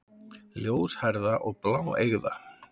Ljóshærða og bláeygða.